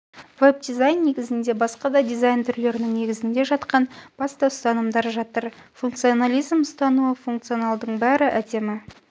веб-дизайн негізінде басқа да дизайн түрлерінің негізінде жатқан басты ұстанымдар жатыр функционализм ұстанымы функционалдының бәрі әдемі